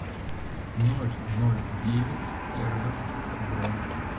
нольнольдевятьэрэф бронь